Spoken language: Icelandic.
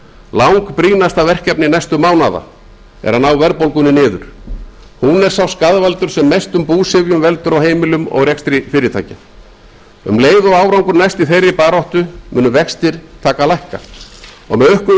langbrýnasta verkefni næstu mánaða er að ná verðbólgunni niður hún er sá skaðvaldur sem mestum búsifjum veldur á heimilum almennings og í rekstri fyrirtækja um leið og árangur næst í þeirri baráttu munu vextir taka að lækka og með